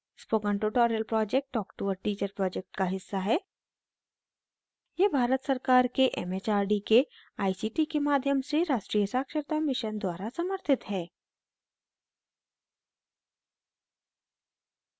spoken tutorial project talk to a teacher project का हिस्सा है यह भारत सरकार के एम एच आर डी के a सी टी के माध्यम से राष्ट्रीय साक्षरता mission द्वारा समर्थित है